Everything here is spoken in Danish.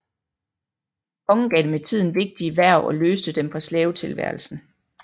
Kongen gav dem med tiden vigtige hverv og løste dem fra slavetilværelsen